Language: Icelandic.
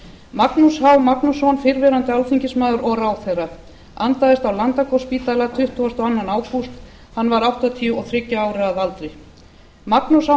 magnús h magnússon fyrrverandi alþingismaður og ráðherra andaðist á landakotsspítala tuttugasta og önnur ágúst hann var áttatíu og þriggja ára að aldri magnús h